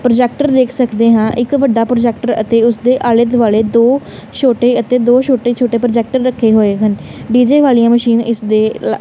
projector ਦੇਖ਼ ਸਕਦੇ ਹਾਂ ਇੱਕ ਵੱਡਾ ਪ੍ਰੋਜੈਕਟਰ ਅਤੇ ਉੱਸ ਦੇ ਆਲੇ ਦੁਆਲੇ ਦੋ ਛੋਟੇ ਅਤੇ ਦੋ ਛੋਟੇ ਛੋਟੇ ਪ੍ਰੋਜੈਕਟਰ ਰੱਖੇ ਹੋਏ ਹਨ ਡੀ_ਜੇ ਵਾਲਿਆਂ ਮਸ਼ੀਨ ਇੱਸ ਦੇ ਲ਼--